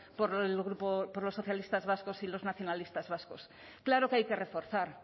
por los socialistas vascos y los nacionalistas vascos claro que hay que reforzar